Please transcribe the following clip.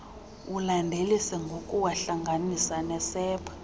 ulandelise ngokuwahlanganisa nesepha